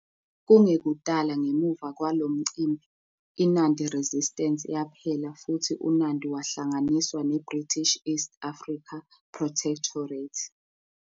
Kungekudala ngemuva kwalo mcimbi, iNandi Resistance yaphela futhi uNandi wahlanganiswa neBritish East Africa Protectorate.